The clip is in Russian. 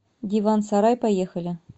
диван сарай поехали